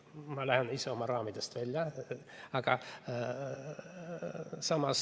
Nüüd ma lähen ise oma raamidest välja.